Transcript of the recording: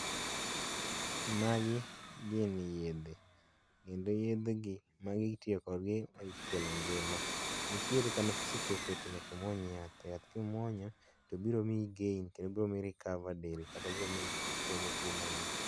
Magi gin yedhe, kendo yedhegi magi itiyokodgi e kelo ngima, nitiere kama kisechope to nyaka imuony yath to yath ka imuonyo to biromiyo i gain kendo biromiyi i recover del kata biromiyi ichomo tuo ma ingo.